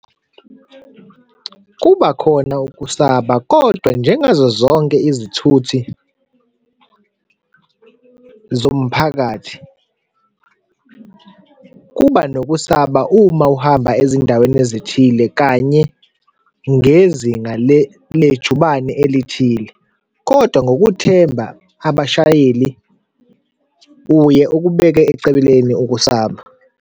Kuba khona ukusaba, kodwa njengazozonke izithuthi zomphakathi kuba nokusaba uma uhamba ezindaweni ezithile, kanye ngezinga lejubane elithile, kodwa ngokuthemba abashayeli, uye okubeka eceleni ukusaba.